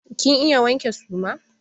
Kin iya wanke suma?